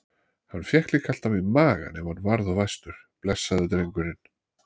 Hann fékk líka alltaf í magann ef hann varð of æstur, blessaður drengurinn.